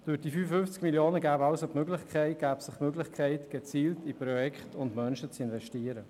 Durch die 55 Mio. Franken ergäbe sich die Möglichkeit, gezielt in Projekte und Menschen zu investieren.